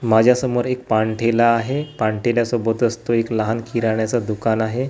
माझ्यासमोर एक पान ठेला आहे पान ठेल्या सोबतच तो एक लहान किराण्याचं दुकान आहे.